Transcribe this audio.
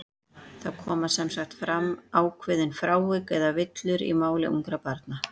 Það koma sem sagt fram ákveðin frávik, eða villur, í máli ungra barna.